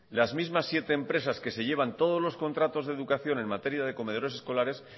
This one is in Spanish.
las mismas siete empresas que se llevan los contratos de educación en materia de comedores escolares